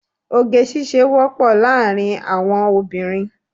Oge ṣíṣe wọ́pọ̀ láàrín àwọn obìnrin.